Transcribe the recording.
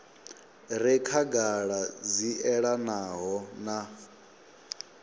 re khagala dzi elanaho na